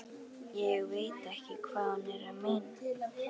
Ég veit ekki hvað hún er að meina.